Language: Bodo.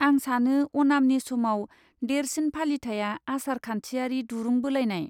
आं सानो अनामनि समाव देरसिन फालिथाइया आसार खान्थियारि दुरुं बोलायनाय।